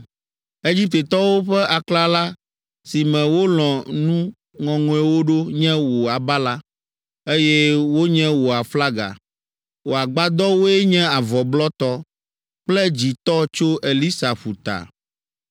Egiptetɔwo ƒe aklala si me wolɔ̃ nu ŋɔŋɔewo ɖo nye wò abala, eye wonye wo aflaga; wò agbadɔwoe nye avɔ blɔtɔ kple dzĩtɔ tso Elisa ƒuta.